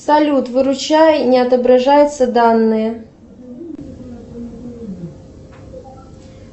салют выручай не отображаются данные